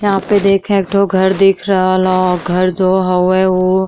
यहां पे देखे एक ठो घर दिख रहल ह। घर जो हवे उ --